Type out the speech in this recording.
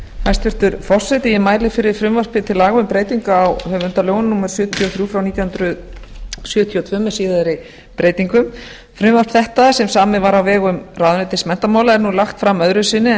forseti ég mæli fyrir frumvarpi til laga um breyting á höfundalögum númer fjörutíu og þrjú nítján hundruð sjötíu og fimm með síðari breytingum frumvarp þetta sem samið var á vegum ráðuneytis menntamála er nú lagt fram öðru sinni en